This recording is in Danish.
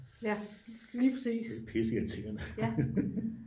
det er pisse irriterende